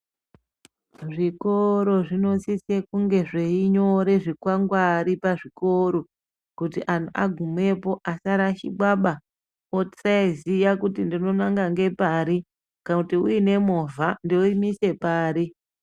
Zvikoro zvinosise kunge zveinyore zvikwangwari pazvikoro kuti antu agumepo asarashikwaba. Osaiziya kuti ndinonanga ngepari, kana kuti uine movha, ndoimise pari.